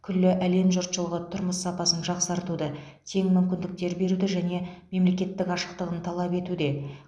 күллі әлем жұртшылығы тұрмыс сапасын жақсартуды тең мүмкіндіктер беруді және мемлекеттің ашықтығын талап етуде